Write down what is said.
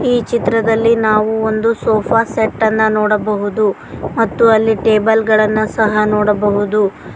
ಚಿತ್ರದಲ್ಲಿ ನಾವು ಒಂದು ಸೋಫಾ ಸೆಟ್ ಅನ್ನ ನೋಡಬಹುದು ಮತ್ತು ಅಲ್ಲಿ ಟೇಬಲ್ ಗಳನ್ನು ಸಹ ನೋಡಬಹುದು.